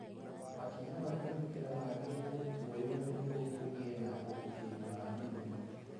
Makinya ma kũgitĩra magĩrĩirũo kuoywo nĩguo kũgĩe na ũgitĩri wa mĩrimũ.